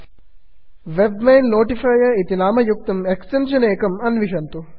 webmail notifier web mail notifier इति नामयुक्तम् extension अन्विषन्तु